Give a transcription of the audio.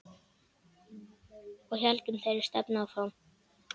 Og héldum þeirri stefnu áfram.